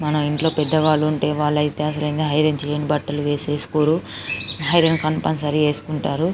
మన ఇంట్లో పెద్దవాళ్ళు ఉంటె వెళ్ళితే అసలైనది ఐరన్ చేయని బట్టలు వేసేస్కోరు ఐరన్ కంప్యూల్సేరీ వేసుకుంటారు.